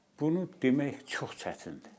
bunu demək çox çətindir.